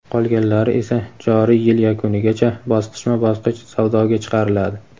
qolganlari esa joriy yil yakunigacha bosqichma-bosqich savdoga chiqariladi.